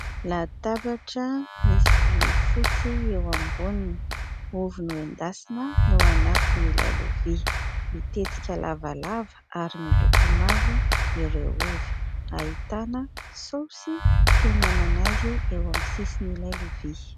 Latabatra misy vilia fotsy eo amboniny. Ovy noendasina no ao anatin'ilay lovia. Mitetika lavalava ary miloko mavo ireo ovy. Ahitana saosy fihinanana azy eo amin'ny sisin'ilay lovia.